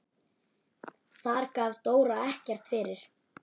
Þar gaf Dóra ekkert eftir.